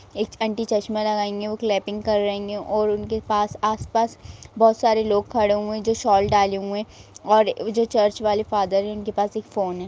एक आंटी चश्मा लगाई हैं वो क्लैपिंग कर रही हैं और उनके आसपास बहुत सारे लोग खड़े हुए हैं जो सोल डाले हुए हैं और ओ जो चर्च वाले फादर जो है उनके पास फोन है।